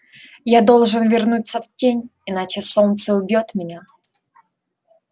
я должен вернуться в тень иначе солнце убьёт меня